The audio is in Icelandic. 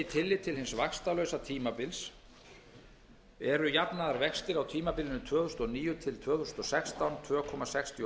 hins vaxtalausa tímabils eru jafnaðarvextir á tímabilinu tvö þúsund og níu til tvö þúsund og sextán tvö komma sextíu